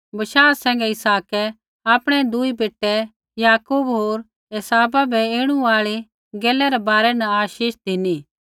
बशाह सैंघै इसहाकै आपणै दुई बेटै याकूब होर एसावा बै ऐणु आल़ी गैलै रै बारै न आशीष धिनी